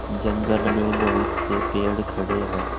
जंगल में बहुत से पेड़ खड़े हैं।